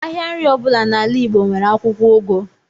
Ahịa nri ọbụla n’ala Igbo nwere akwụkwọ ugu